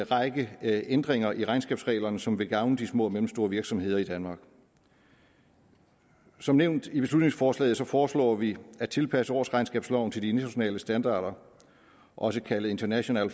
række ændringer i regnskabsreglerne som vil gavne de små og mellemstore virksomheder i danmark som nævnt i beslutningsforslaget foreslår vi at tilpasse årsregnskabsloven til de internationale standarder også kaldet international